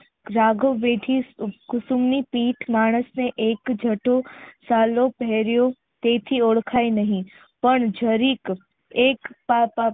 બેઠી બેઠી કુસુમ ની પીઠ માણસને એક જતો સાલોપ તેથી ઓળખાય નહી પણ જરીક એક